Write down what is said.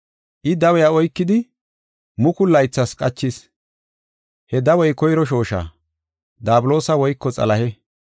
I dawiya oykidi mukulu laythas qachis. He dawey koyro shoosha, Daabuloosa woyko Xalahe.